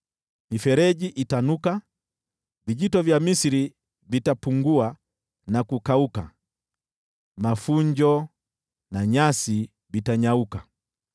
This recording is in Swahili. Mifereji itanuka; vijito vya Misri vitapungua na kukauka. Mafunjo na nyasi vitanyauka,